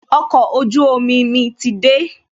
Okọ̀ ojú omi mi ti dé